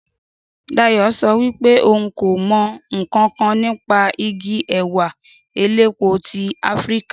Dayò so wípé ohun kò mo nkankan nípa Igi èwà elépo ti afrika